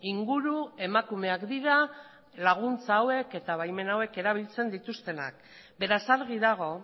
inguru emakumeak dira laguntza hauek eta baimen hauek erabiltzen dituztenak beraz argi dago